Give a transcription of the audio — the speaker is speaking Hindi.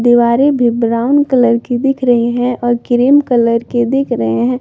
दीवारे भी ब्राउन कलर की दिख रही हैं और क्रीम कलर के दिख रहे हैं।